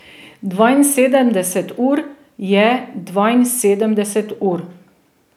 Dvainsedemdeset ur je dvainsedemdeset ur.